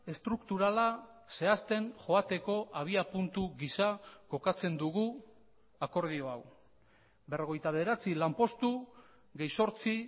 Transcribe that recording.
estrukturala zehazten joateko abiapuntu gisa kokatzen dugu akordio hau berrogeita bederatzi lanpostu gehi zortzi